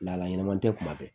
Lahala ɲɛnaman tɛ kuma bɛɛ